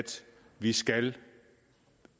vi skal